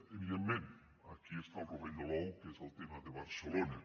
evi·dentment aquí hi ha el rovell de l’ou que és el tema de barcelona